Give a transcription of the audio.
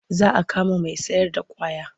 Za a kama mai sayarda ƙwaya.